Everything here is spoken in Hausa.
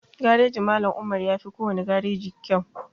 Garejin Mallam Umar yafi kowane gareji kyau